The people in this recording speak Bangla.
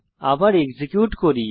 আবার এক্সিকিউট করি